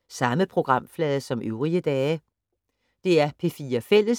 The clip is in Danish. DR P4 Fælles